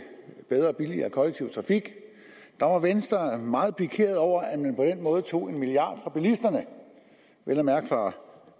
bedre og billigere kollektiv trafik var venstre meget pikeret over at man på den måde tog en milliard kroner fra bilisterne vel at mærke fra